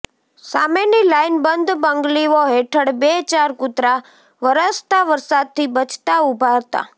સામેની લાઈનબંધ બંગ્લીઓ હેઠળ બે ચાર કૂતરા વરસતા વરસાદથી બચતા ઊભા હતા